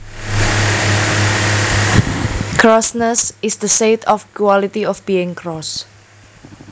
Crossness is the state or quality of being cross